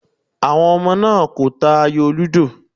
Àwọn ọmọ náà kò ta ayò lúdò.